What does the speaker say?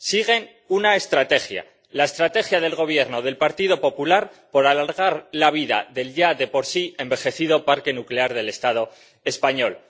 Siguen una estrategia la estrategia del Gobierno del Partido Popular por alargar la vida del ya de por sí envejecido parque nuclear del Estado español.